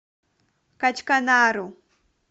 качканару